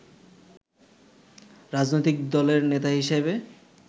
রাজনৈতিক দলের নেতা হিসেবে